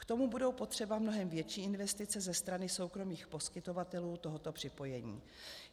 K tomu budou potřeba mnohem větší investice ze strany soukromých poskytovatelů tohoto připojení.